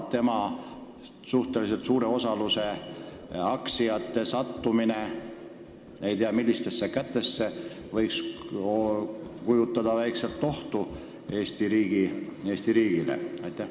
Tema aktsiatest suhteliselt suure osa müük ei tea kelle kätesse võib endast ehk Eesti riigile teatud ohtu kujutada.